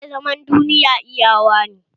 Ke zaman duniya iyawa ne!